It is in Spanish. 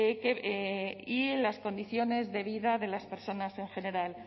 y en las condiciones de vida de las personas en general